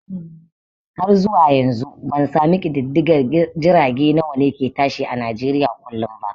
Har zuwa yanzu bansami ƙididdigan jirage nawane ke tashi a nijeriya kullum ba